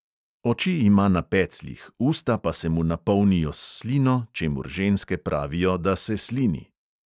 Oči ima na pecljih, usta pa se mu napolnijo s slino čemur ženske pravijo, da "se slini".